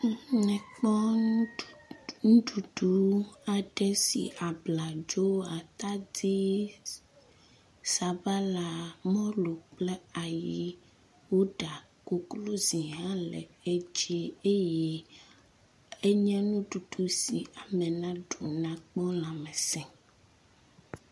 mekpɔ ŋuɖuɖu aɖe si abladzo atadi sabala mɔlu kple ayi woɖa koklozi hã le edzi eye enye nuɖuɖu si ame naɖu akpo lãmesē